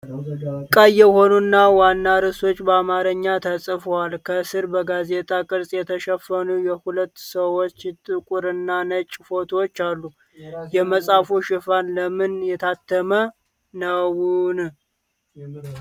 ቀይ የሆኑ ዋና ርዕሶች በአማርኛ ተጽፈዋል። ከስር በጋዜጣ ቅርፅ የተሸፈኑ የሁለት ሰዎች ጥቁርና ነጭ ፎቶዎች አሉ። የመጽሐፉ ሽፋን ለምን የታተመ ነው?